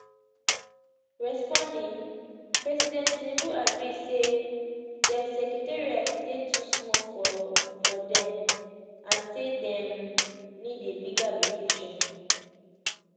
responding president tinubu agree say dia secretariat dey too small for for dem and say dem need a bigger location